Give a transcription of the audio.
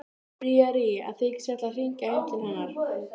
Ást og hjónaband eru iðulega samofin stef í Biblíunni.